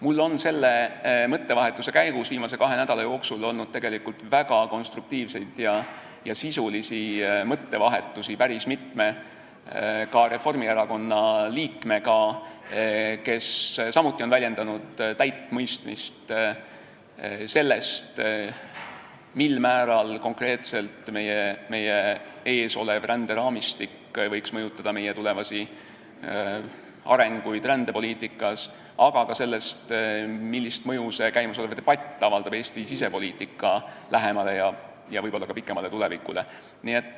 Mul on selle mõttevahetuse käigus viimase kahe nädala jooksul olnud väga konstruktiivseid ja sisulisi mõttevahetusi ka päris mitme Reformierakonna liikmega, kes on samuti väljendanud täit mõistmist, mil määral võiks meie ees olev ränderaamistik konkreetselt mõjutada tulevasi arenguid rändepoliitikas ja millist mõju käimasolev debatt avaldab Eesti sisepoliitika lähemale ja võib-olla ka kaugemale tulevikule.